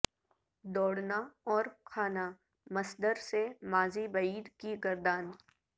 دوڑنا اور کھانا مصدر سے ماضی بعید کی گردان